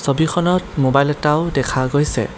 ছবিখনত মোবাইল এটাও দেখা গৈছে।